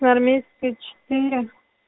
армейская четыре